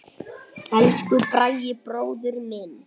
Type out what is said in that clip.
Elsku Bragi bróðir minn.